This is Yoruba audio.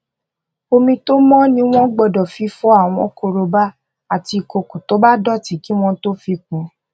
omi tó mó ni wón gbódò fi fọ àwọn korobá àti ìkòkò tó bá dòtí kí wón tó fi kún